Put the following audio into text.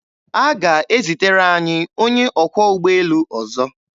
A ga-ezitere anyị onye ọkwọ ụgbọelu ọzọ.